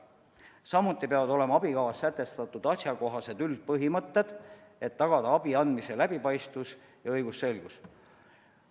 Samuti peavad olema abikavas sätestatud asjakohased üldpõhimõtted, et tagada abi andmise läbipaistvus ja õigusselgus.